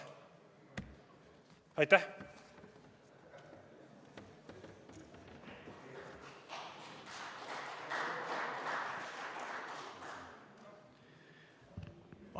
Aitäh!